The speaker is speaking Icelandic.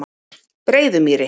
Breiðumýri